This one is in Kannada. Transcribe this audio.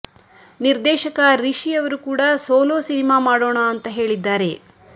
ನಿರ್ದೇಶಕ ರಿಷಿ ಅವರು ಕೂಡ ಸೋಲೋ ಸಿನಿಮಾ ಮಾಡೋಣ ಅಂತ ಹೇಳಿದ್ದಾರೆ